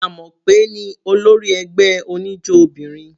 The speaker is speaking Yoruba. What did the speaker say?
Amope ní olórí ẹgbẹ́ oníjó obìnrin.